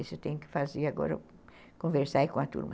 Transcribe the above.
Isso eu tenho que fazer agora, conversar aí com a turma.